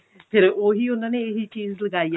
ਫਿਰ ਉਹੀ ਉਹਨਾਂ ਨੇ ਇਹੀ ਚੀਜ਼ ਲਗਾਈ ਏ